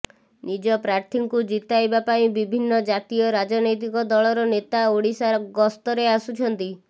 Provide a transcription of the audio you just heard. ନିଜ ପ୍ରାର୍ଥୀଙ୍କୁ ଜିତାଇବା ପାଇଁ ବିଭିନ୍ନ ଜାତୀୟ ରାଜନୈତିକ ଦଳର ନେତା ଓଡିଶା ଗସ୍ତରେ ଆସୁଛନ୍ତି